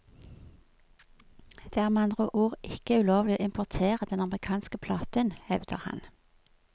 Det er med andre ord ikke ulovlig å importere den amerikanske platen, hevder han.